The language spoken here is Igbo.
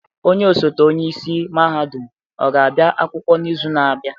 Onye ọsote onye isi mahadum ọ ga-abịa akwụkwọ n'izu na-abịa?